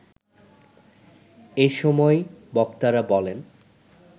এ সময় বক্তারা বলেন